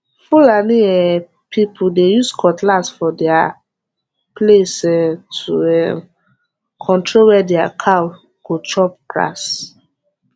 fulani um people dey use cutlass for their place um to um control where their cow go chop grass